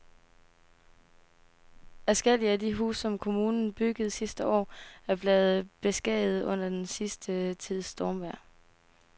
Adskillige af de huse, som kommunen byggede sidste år, er blevet beskadiget under den sidste tids stormvejr.